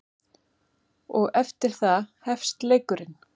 Og eftir það hefst leikurinn.